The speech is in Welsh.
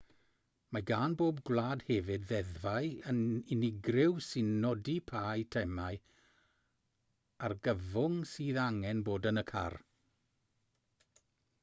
mae gan bob gwlad hefyd ddeddfau unigryw sy'n nodi pa eitemau argyfwng sydd angen bod yn y car